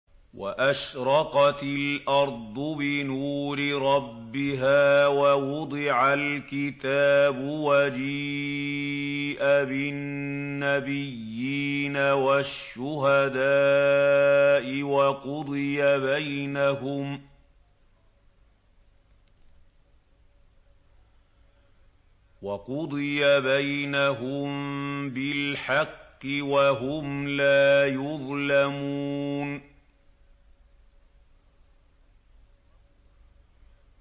وَأَشْرَقَتِ الْأَرْضُ بِنُورِ رَبِّهَا وَوُضِعَ الْكِتَابُ وَجِيءَ بِالنَّبِيِّينَ وَالشُّهَدَاءِ وَقُضِيَ بَيْنَهُم بِالْحَقِّ وَهُمْ لَا يُظْلَمُونَ